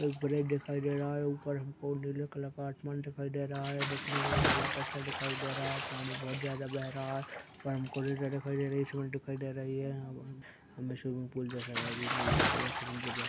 एक ब्रिज दिखायी दे रहा है ऊपर हमको नीले कलर का आसमान दिखायी दे रहा है दिखने में हमें बहोत अच्छा दिखायी दे रहा है पानी बहोत ज्यादा बह रहा है पर हमको नदी दिखायी दे रही है स्वीमिंगपूल दिखायी दे रही है हं हं बहोत अच्छा दिखायी दे रहा है हमें स्वीमिंगपूल जैसा अभी नहीं या समुद्र जैसा--